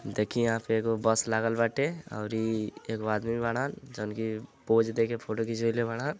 देखि यहाँ पे एगो बस लागल बाटे औरी एगो आदमी बाड़न जवन कि पोज़ देके फोटो खींचवाइले बाड़न।